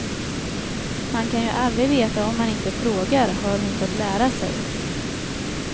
Man kan ju aldrig veta om man inte frågar, har hon fått lära sig.